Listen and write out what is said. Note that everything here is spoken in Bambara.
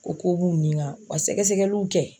O ko b'u ɲinka, ka sɛgɛsɛgɛliw kɛ.